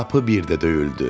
Qapı birdə döyüldü.